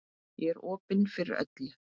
Ég er opin fyrir öllu.